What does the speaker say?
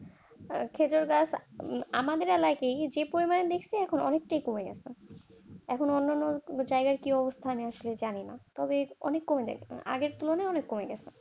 খেজুর গাছ আমাদের এলাকায় যে কোন যে পরিমাণ বিচি সেটা এখন অনেক কমে গেছে এখন অন্য বিচারের অবস্থা আমি জানিনা অনেক কম দেখছি আগের তুলনায় অনেক কম।